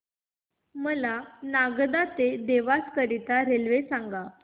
मला नागदा ते देवास करीता रेल्वे सांगा